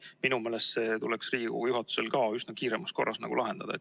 Minu meelest tuleks see Riigikogu juhatusel kiiremas korras lahendada.